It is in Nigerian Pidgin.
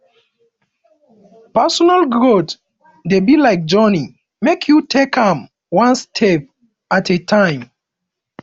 personal growth dey be like journey make you take am one step at a time